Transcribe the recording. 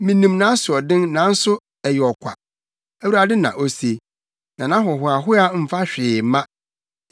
Minim nʼasoɔden nanso ɛyɛ ɔkwa,” Awurade na ose, “na nʼahohoahoa mfa hwee mma.